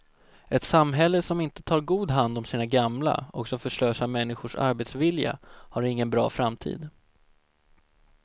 Ett samhälle som inte tar god hand om sina gamla och som förslösar människors arbetsvilja har ingen bra framtid.